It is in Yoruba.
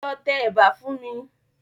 Lọ tẹ ẹ̀bà fún mi.